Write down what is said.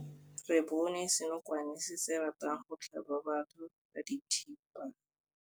Re bone senokwane se se ratang go tlhaba batho ka thipa.